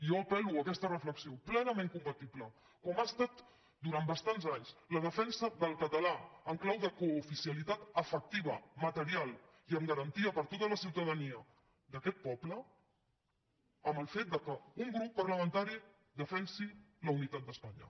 jo apela aquesta reflexió plenament compatible com ho ha estat durant bastants anys la defensa del català en clau de cooficialitat efectiva material i amb garantia per a tota la ciutadania d’aquest poble amb el fet que un grup parlamentari defensi la unitat d’espanya